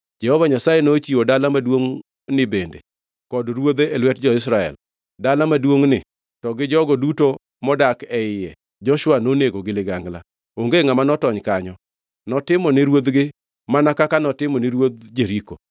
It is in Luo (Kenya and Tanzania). Jehova Nyasaye nochiwo dala maduongʼni bende kod ruodhe e lwet jo-Israel. Dala maduongʼni to gi jogo duto modak e iye Joshua nonego gi ligangla. Onge ngʼama notony kanyo. Notimone ruodhgi mana kaka notimone ruodh Jeriko.